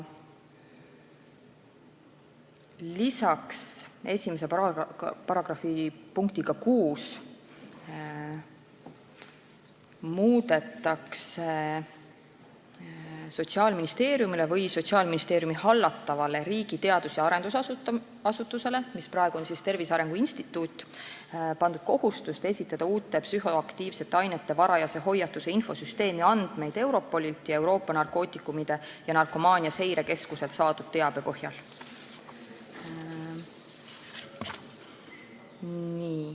Lisaks muudetakse § 1 punktiga 6 Sotsiaalministeeriumile või Sotsiaalministeeriumi hallatavale riigi teadus- ja arendusasutusele, mis on praegu Tervise Arengu Instituut, pandud kohustust esitada uute psühhoaktiivsete ainete varajase hoiatuse infosüsteemi andmeid Europolilt ja Euroopa Narkootikumide ja Narkomaania Seirekeskuselt saadud teabe põhjal.